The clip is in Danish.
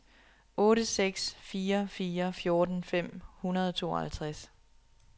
otte seks fire fire fjorten fem hundrede og tooghalvtreds